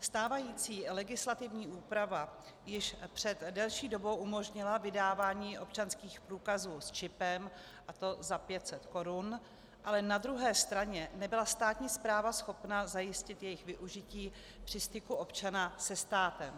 Stávající legislativní úprava již před delší dobou umožnila vydávání občanských průkazů s čipem, a to za 500 korun, ale na druhé straně nebyla státní správa schopna zajistit jejich využití při styku občana se státem.